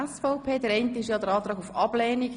1. Antrag auf Ablehnung.